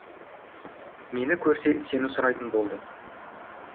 мені көрсе сені сұрайтын болды